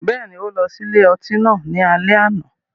Bẹ́ẹ̀ni, o lọ si ile-ọti náà ni alẹ ana